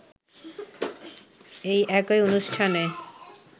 এই একই অনুষ্ঠানে